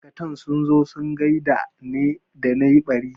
Ma'aikatan sun zo sun gaida ne da na yi ɓari